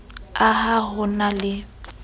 a ha ho na le